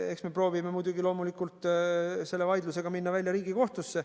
Eks me proovime muidugi selle vaidlusega minna välja Riigikohtusse.